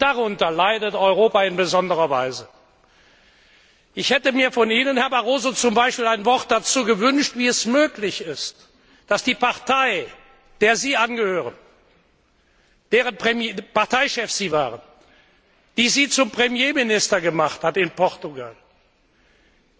Und darunter leidet Europa in besonderer Weise. Ich hätte mir von Ihnen, Herr Barroso, zum Beispiel ein Wort dazu gewünscht, wie es möglich ist, dass die Partei, der Sie angehören, deren Parteichef Sie waren, die Sie zum Premierminister in Portugal gemacht hat,